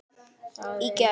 Í gær?